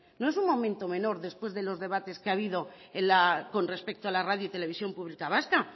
no es un momento menor después de los debates que ha habido con respecto a la radio y televisión pública vasca